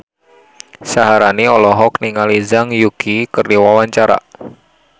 Syaharani olohok ningali Zhang Yuqi keur diwawancara